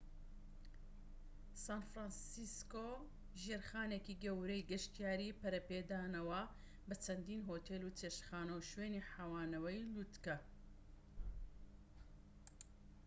سان فرانسیسکۆ ژێرخانێکی گەورەی گەشتیاری پەرەپێداوە بە چەندین هۆتێل و چێشتخانە و شوێنی حەوانەوەی لووتکە